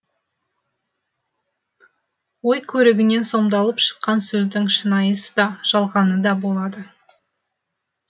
ой көрігінен сомдалып шыққан сөздің шынайысы да жалғаны да болады